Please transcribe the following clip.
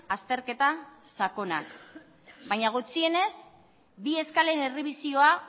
azterketa sakonak baina gutxienez bi eskalen errebisioa